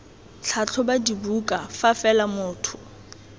tlhatlhoba dibuka fa fela motho